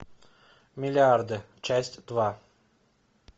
миллиарды часть два